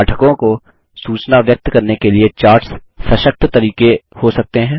पाठकों को सूचना व्यक्त करने के लिए चार्ट्स सशक्त तरीके हो सकते हैं